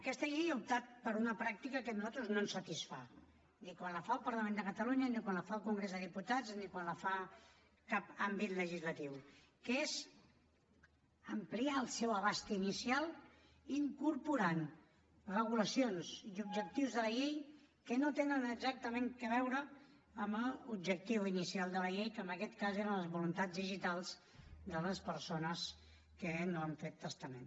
aquest llei ha optat per una pràctica que a nosaltres no ens satisfà ni quan la fa el parlament de catalunya ni quan la fa el congrés dels diputats ni quan la fa cap àmbit legislatiu que és ampliar el seu abast inicial incorporant regulacions i objectius de la llei que no tenen exactament a veure amb l’objectiu inicial de la llei que en aquest cas eren les voluntats digitals de les persones que no han fet testament